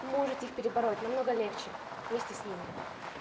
можете их перебороть намного легче вместе с ними